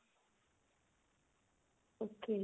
okay